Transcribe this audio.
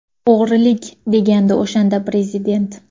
O‘g‘rilik!”, degandi o‘shanda Prezident.